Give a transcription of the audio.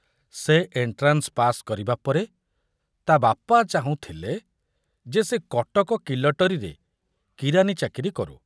ସେ entrance pass କରିବା ପରେ ତା ବାପା ଚାହୁଁଥିଲେ ଯେ ସେ କଟକ କିଲଟରୀରେ କିରାନୀ ଚାକିରି କରୁ।